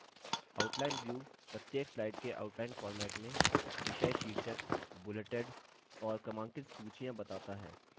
outline view प्रत्येक slide के outline format में विषय शीर्षक bulleted और क्रमांकित सूचियाँ बताता है